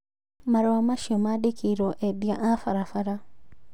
Marua macio mandĩkĩirwo endia a barabara